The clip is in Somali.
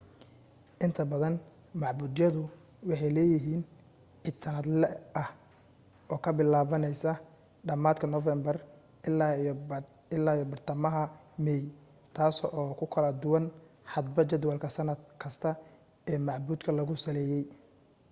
inta badan macbudyadu waxay leeyihiin iid sannadle ah oo ka bilaabmaysa dhammaadka noofambar illaa iyo badhtamaha meey taas oo ku kala duwan hadba jadwalka sannad kasta ee macbudka lagu saleeyey